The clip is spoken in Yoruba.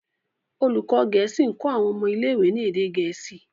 olùkó gèésì nkọ àwọn ọmọ ilé ìwé ní èdè gèésì.